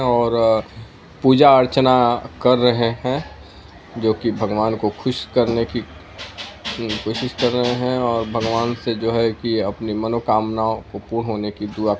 और पूजा अर्चना कर रहे है जो की भगवान को खुश करने की कोशिश कर रहे हैं और भगवान से जो है कि अपनी मनो कामनाओ को पूर्ण होने की दुआ --